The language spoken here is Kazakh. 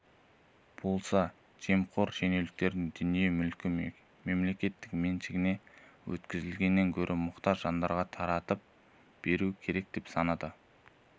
болса жемқор шенеуніктердің дүние-мүлкін мемлекет меншігіне өткізгеннен гөрі мұқтаж жандарға таратып беру керек деп санайды